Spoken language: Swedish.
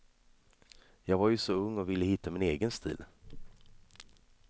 Jag var ju så ung och ville hitta min egen stil.